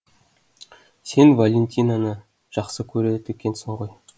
сен валентинаны жақсы көреді екенсің ғой